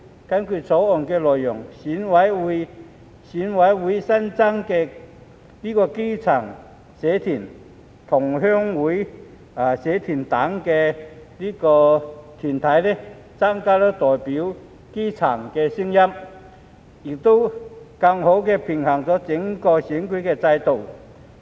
根據《條例草案》的內容，選委會新增基層社團、同鄉會社團等團體，增加代表基層的聲音，亦更好地平衡整個選舉制度。